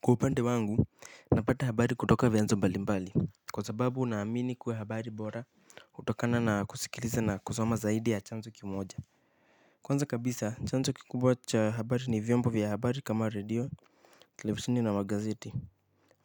Kwa upande wangu napata habari kutoka vyanzo mbalimbali. Kwa sababu naamini kuwa habari bora hutokana na kusikiliza na kusoma zaidi ya chanzo kimoja. Kwanza kabisa chanzo kikubwa cha habari ni vyombo vya habari kama radio, televisini na magazeti.